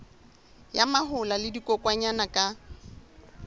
ya mahola le dikokwanyana ka